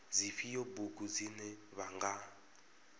dzifhio bugu dzine vha nga